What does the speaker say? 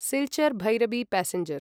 Silchar Bhairabi passenger